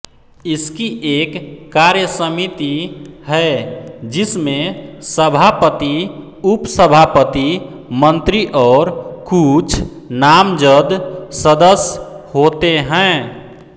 इसकी एक कार्यसमिति है जिसमें सभापति उपसभापति मंत्री और कुछ नामजद सदस्य होते हैं